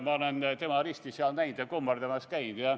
Ma olen tema risti seal näind ja kummardamas käind.